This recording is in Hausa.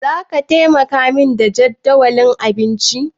Zaka taimaka min da jadawalin abincinku?